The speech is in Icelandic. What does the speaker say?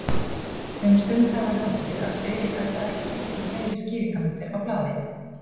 Um stund hafði hann haldið, að Friðrik ætlaði ekki að teikna fleiri skýringarmyndir á blaðið.